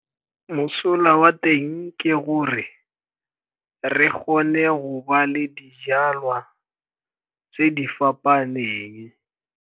Mosola wa teng ke gore re kgone go ba le dijalwa tse di fapaneng.